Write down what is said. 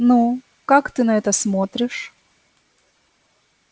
ну как ты на это смотришь